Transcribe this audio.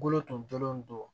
Bolo tun dɔnlen don